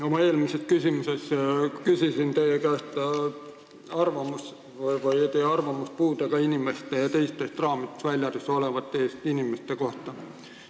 Oma eelmise küsimusega küsisin teie käest arvamust puudega inimeste ja teiste raamidest väljas olevate inimeste kohta.